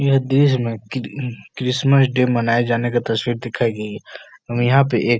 यह देश में क्री क्रिसमस डे मनाये जाने का तस्वीर दिखाई गयी है और यहाँ पे एक --